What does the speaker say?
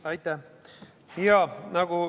Aitäh!